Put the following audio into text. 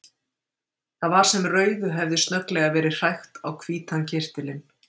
Það var sem rauðu hefði snögglega verið hrækt á hvítan kyrtilinn.